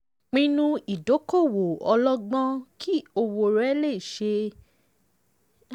pinnu ìdókòwò ọlọ́gbọ́n kí owó rẹ lè ṣiṣẹ́ dáadáa fún ọ.